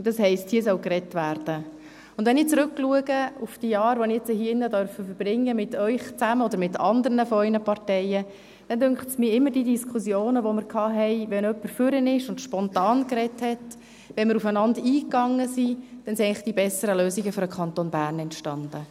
Wenn ich auf die Jahre zurückblicke, die ich hier drin zusammen mit Ihnen oder mit anderen aus Ihren Parteien verbringen durfte, dann dünkt es mich, dass aus den Diskussionen, die wir hatten, wenn jemand nach vorne ging und spontan redete, wenn wir aufeinander eingingen, eigentlich immer die besseren Lösungen für den Kanton Bern entstanden.